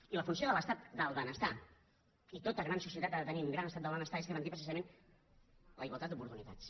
i la funció de l’estat del benestar i tota gran societat ha de tenir un gran estat del benestar és garantir precisament la igualtat d’oportunitats